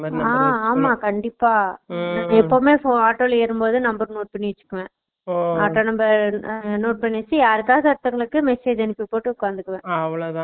அஹ் ஆமா கண்டிப்பா Noise நா எப்பயுமே ஆட்டோ ல ஏறும் போது number note பண்ணி வெச்சுக்குவேன் Noise ஆட்டோ number note பண்ணி யாருக்கவது ஒருத்தர்க்கு message அனுப்பி போட்டு உகந்துகுவேன்